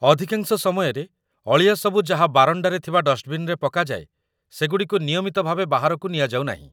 ଅଧିକାଂଶ ସମୟରେ, ଅଳିଆ ସବୁ ଯାହା ବାରଣ୍ଡାରେ ଥିବା ଡଷ୍ଟବିନ୍‌ରେ ପକାଯାଏ, ସେଗୁଡ଼ିକୁ ନିୟମିତ ଭାବେ ବାହାରକୁ ନିଆଯାଉନାହିଁ